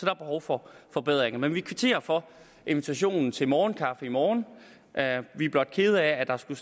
er behov for forbedringer men vi kvitterer for invitationen til morgenkaffe i morgen vi er blot kede af at der skulle